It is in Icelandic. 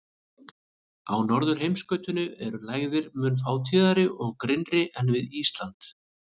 Á norðurheimskautinu eru lægðir mun fátíðari og grynnri en við Ísland.